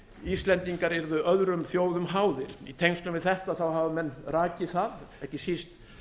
íslendingar yrðu öðrum þjóðum háðir í tengslum við þetta hafa menn rakið það ekki síst